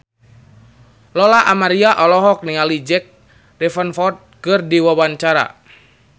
Lola Amaria olohok ningali Jack Davenport keur diwawancara